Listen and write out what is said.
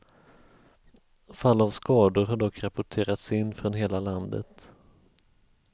Fall av skador har dock rapporterats in från hela landet.